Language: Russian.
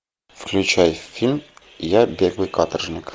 включай фильм я беглый каторжник